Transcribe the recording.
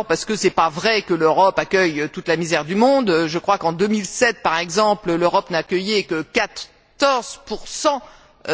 D'abord parce que ce n'est pas vrai que l'Europe accueille toute la misère du monde je crois qu'en 2007, par exemple, l'Europe n'a accueilli que 14